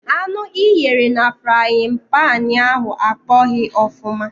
Anụ i ghere na frayịn panị ahụ akpọghị ọfụma.